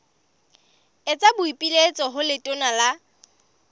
etsa boipiletso ho letona la